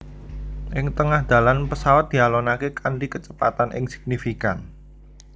Ing tengah dalan pesawat dialonaké kanthi kecepatan kang signifikan